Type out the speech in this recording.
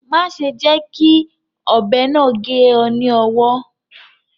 Má ṣe jẹ́ kí ọ̀bẹ náà gé ọ ní owọ́